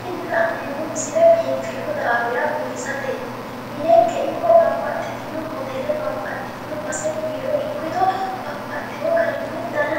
Tini la'neemmo misile biinfillu daafira biifisateeti, minenke ikko babbaxxitino base biiro ikkito babbaxxewo garinni dana